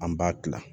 An b'a kila